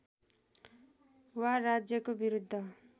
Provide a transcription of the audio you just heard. वा राज्यको विरुद्ध